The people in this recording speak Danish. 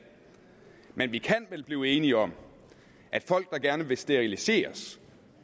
men vi kan vel blive enige om at folk der gerne vil steriliseres